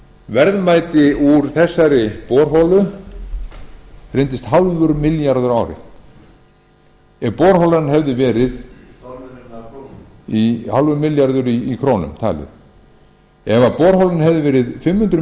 verðmæti úr þessari borholu reyndist hálfur milljarður á ári ef borholan hefði verið hálfur milljarður í krónum talið ef borholan hefði verið fimm hundruð